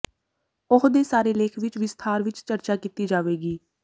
ਉਹ ਦੇ ਸਾਰੇ ਲੇਖ ਵਿਚ ਵਿਸਥਾਰ ਵਿਚ ਚਰਚਾ ਕੀਤੀ ਜਾਵੇਗੀ